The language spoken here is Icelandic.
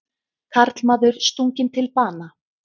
Karlmaður stunginn til bana